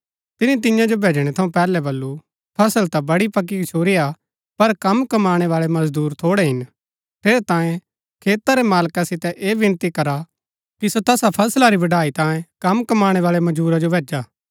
तिनी तियां जो भैजणै थऊँ पैहलै वल्‍लु फसल ता बड़ी पक्की गछुरिआ पर कम कमाणै बाळै मजदूर थोड़ै हिन ठेहरै तांयें खेता रै मालका सितै ऐह विनती करा कि सो तैहा फसला री बड़ाई तांयें कम कमाणै बाळै मजूरा जो भैजा